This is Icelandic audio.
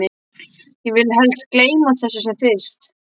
Ég vil helst gleyma þessu sem fyrst.